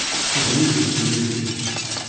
Čudovito doživetje!